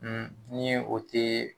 Un ni o tɛ